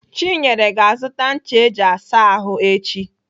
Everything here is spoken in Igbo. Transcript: Chinyere ga-azụta ncha eji asa ahụ echi.